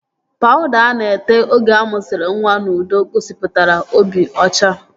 Pawuda a na-ete oge amụsiri nwa n'udo gosipụtara obi ọcha